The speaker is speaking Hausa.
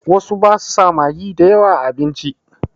Wasu ba su sa magi da yawa a abinci.